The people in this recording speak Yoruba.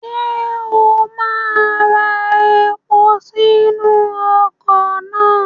Ṣé o máa ra epo sínú ọkọ̀ náà?